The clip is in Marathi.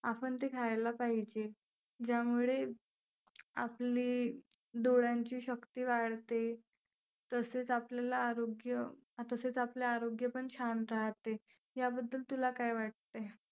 आपण ते खायला पाहिजे. ज्यामुळे आपले डोळ्यांची शक्ती वाढते. तसेच आपल्याला आरोग्य तसेच आपले आरोग्य पण छान राहते. याबद्दल तुला काय वाटतंय?